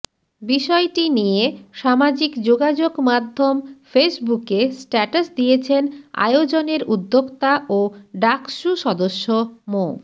বিষয়টি নিয়ে সামাজিক যোগাযোগমাধ্যম ফেসবুকে স্ট্যাটাস দিয়েছেন আয়োজনের উদ্যোক্তা ও ডাকসু সদস্য মো